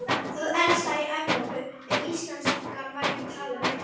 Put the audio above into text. Það elsta í Evrópu, ef íslenskan er ekki talin með.